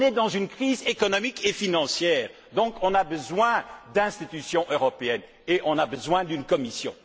Nous traversons une crise économique et financière, donc nous avons besoin d'institutions européennes et nous avons besoin d'une Commission.